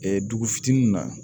dugu fitinin na